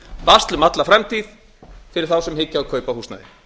basl um alla framtíð fyrir þá sem hyggja á kaup á húsnæði